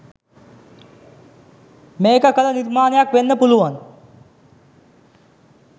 මේක කල නිර්මනයක් වෙන්න පුළුවන්.